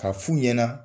Ka fu ɲɛna